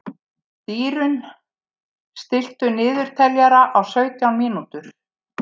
Dýrunn, stilltu niðurteljara á sautján mínútur.